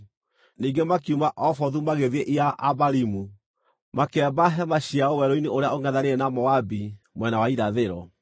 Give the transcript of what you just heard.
Ningĩ makiuma Obothu magĩthiĩ Iye-Abarimu, makĩamba hema ciao werũ-inĩ ũrĩa ũngʼethanĩire na Moabi mwena wa irathĩro.